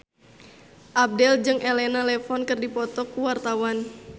Abdel jeung Elena Levon keur dipoto ku wartawan